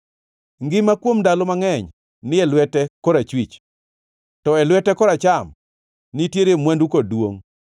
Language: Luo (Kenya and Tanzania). Ngima kuom ndalo mangʼeny ni e lwete korachwich; to e lwete koracham nitiere mwandu kod duongʼ.